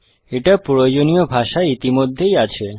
এটা প্রয়োজনীয় ভাষায় ইতিমধ্যেই আছে